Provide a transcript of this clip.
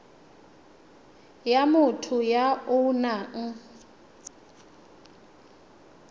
ya motho ya o nang